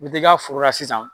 I bi t'i ka foro la sisan.